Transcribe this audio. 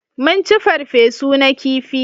Mun ci farfe su na kifi